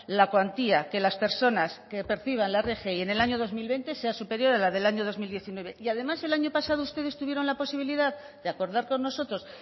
la cuantía que las personas que perciban la rgi en el año dos mil veinte sea superior a la del año dos mil diecinueve y además el año pasado ustedes tuvieron la posibilidad de acordar con nosotros